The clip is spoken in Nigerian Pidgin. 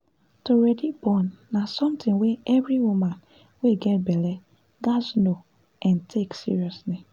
to ready born na something wey every woman wey get belle gaz know n take seriously